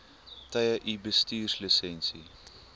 tye u bestuurslisensie